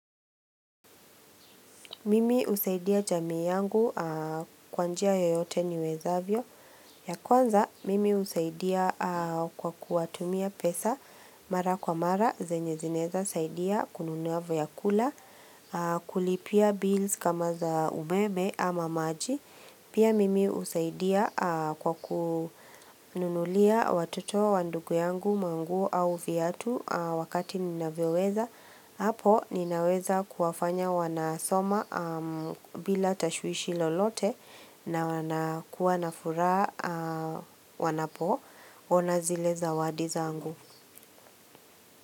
Mimi usaidia jamii yangu kwa njia yoyote niwezavyo. Ya kwanza, mimi husaidia kwa kuwatumia pesa mara kwa mara, zenye zinaeza, saidia kununua vyakula, kulipia bills kama za umeme ama maji. Pia mimi husaidia kwa kununulia watoto, wa ndugu yangu, manguo au viatu wakati ninavyoweweza. Hapo ninaweza kuwafanya wanasoma bila tashuishi lolote na kuwana furaha wanapo ona zile zawadi zangu.